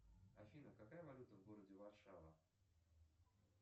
афина какая валюта в городе варшава